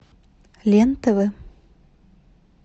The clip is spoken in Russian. лен тв